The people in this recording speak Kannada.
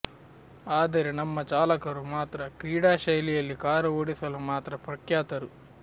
ಆದರೆ ನಮ್ಮ ಚಾಲಕರು ಮಾತ್ರ ಕ್ರೀಡಾ ಶೈಲಿಯಲ್ಲಿ ಕಾರು ಓಡಿಸಲು ಮಾತ್ರ ಪ್ರಖ್ಯಾತರು